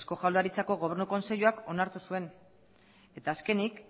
eusko jaurlaritzako gobernu kontseiluak onartu zuen eta azkenik